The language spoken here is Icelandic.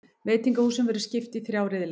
Veitingahúsunum verður skipt í þrjá riðla